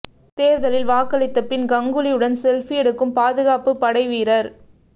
தேர்தலில் வாக்களித்த பின் கங்ககுலி உடன் செல்ஃபி எடுக்கும் பாதுகாப்பு படை வீரர்